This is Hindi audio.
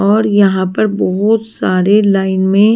और यहां पर बहुत सारे लाइन में--